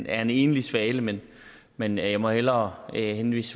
er en enlig svale men men jeg må hellere henvise